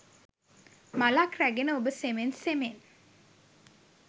මලක් රැගෙන ඔබ සෙමෙන් සෙමෙන්